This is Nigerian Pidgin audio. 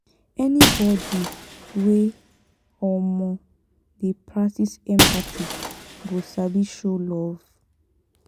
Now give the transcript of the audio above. anybodi wey um dey practice empathy go sabi show love.